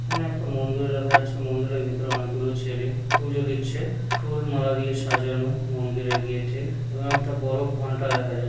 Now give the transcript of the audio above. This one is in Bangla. এখানে একটা মন্দির দেখা যাচ্ছে মন্দিরের ভেতরে অনেকগুলো ছেলে পুজো দিচ্ছে ফুল মালা দিয়ে সাজানো মন্দিরের গেট -এ এবং একটা বড় ঘন্টা দেখা যা--